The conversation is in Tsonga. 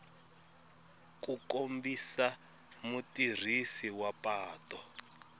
ku kombisa mutirhisi wa patu